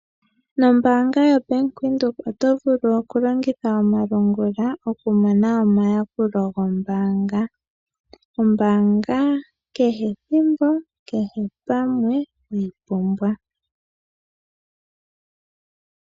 Nombaanga yo Bank Windhoek oto vulu longitha omalungula okumona omayakulo gombaanga, ombaanga kehe thimbo, kehe pamwe weyi pumbwa.